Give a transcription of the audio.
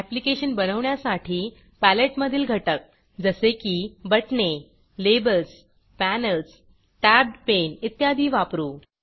application बनवण्यासाठी पॅलेटमधील घटक जसे की बटणे लेबल्स पॅनेल्स टॅब्ड पेन इत्यादी वापरू